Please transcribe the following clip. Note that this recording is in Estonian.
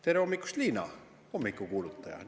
Tere hommikust, Liina, hommikukuulutaja!